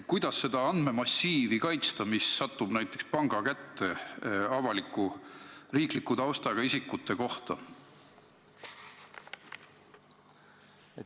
Kuidas seda riikliku taustaga isikuid puudutavat andmemassiivi, mis satub näiteks panga kätte, kaitsta?